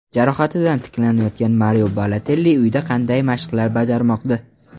Jarohatidan tiklanayotgan Mario Balotelli uyida qanday mashqlar bajarmoqda?.